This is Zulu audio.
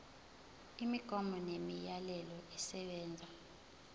imigomo nemiyalelo esebenza